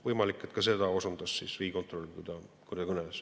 Võimalik, et ka seda osundas riigikontrolör, kui ta kõneles.